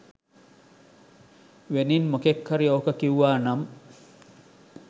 වෙනින් මොකෙක් හරි ඕක කිව්වා නම්